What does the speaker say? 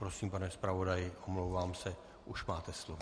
Prosím, pane zpravodaji, omlouvám se, už máte slovo.